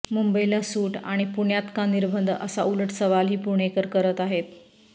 मुंबईला सूट आणि पुण्यात का निर्बंध असा उलट सवालही पुणेकर करत आहेत